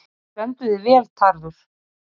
Þú stendur þig vel, Tarfur!